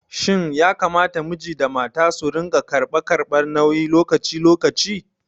Shin yakamata miji da mata su rinƙa karɓa karɓar nauyi lokaci lokaci?